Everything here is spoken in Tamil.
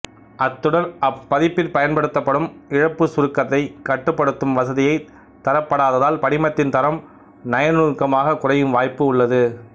அத்துடன் அப்பதிப்பிற்பயன்படுத்தப்படும் இழப்புச் சுருக்கத்தைக் கட்டுப்படுத்தும் வசதியைத் தரப்படாததால் படிமத்தின் தரம் நயநுணுக்கமாகக் குறையும் வாய்ப்பும் உள்ளது